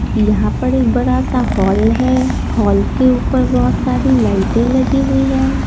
यहां पर एक बड़ा सा हॉल है हॉल के ऊपर बहुत सारी लाइटें लगी हुई है।